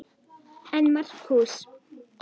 En Markús